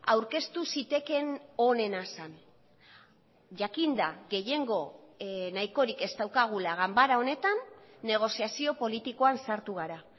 aurkeztu zitekeen onena zen jakinda gehiengo nahikorik ez daukagula ganbara honetan negoziazio politikoan sartu gara